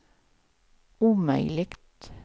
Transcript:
omöjligt